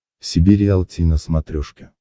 себе риалти на смотрешке